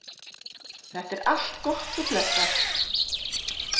Þetta er allt gott og blessað.